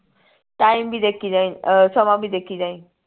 time ਵੀ ਦੇਖੀ ਜਾਈਂ ਅਹ ਸਮਾਂ ਵੀ ਦੇਖੀ ਜਾਈਂ